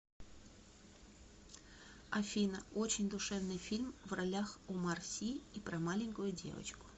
афина очень душевный фильм в ролях омар си и про маленькую девочку